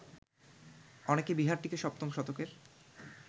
অনেকে বিহারটিকে সপ্তম শতকের